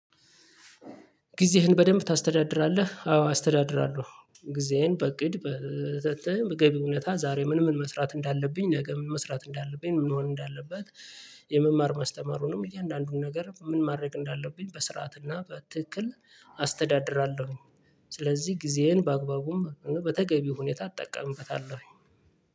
"ጊዜህን በደንብ ታስተዳድራለህ?" አዎ አስተዳድራለሁ። ጊዜዬን በእቅድ በተገቢው ሁኔት ዛሬ ምን ምን መስራት እንዳለብኝ ነገ ምን መስራት እንዳለብኝ ምን መሆን እንዳለበት የመማር ማስተማሩንም እያንዳንዱን ነገር ምን ማድረግ እንዳለብኝ በስርዓትና በትክክል አስተዳድራለሁኝ። ስለዚህ ጊዜዬን በአግባቡም በተገቢው ሁኔታ እጠቀምበታለሁኝ።